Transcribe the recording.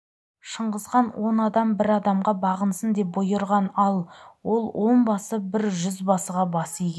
шыңғысхан он адам бір адамға бағынсын деп бұйырған ал ол онбасы бір жүзбасыға бас иген